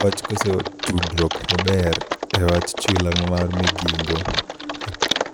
Wach koso tudruok maber e wach chula mar Migingo